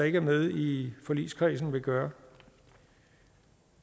ikke er med i forligskredsen vil gøre